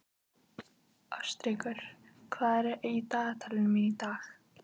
Ástríkur, hvað er í dagatalinu mínu í dag?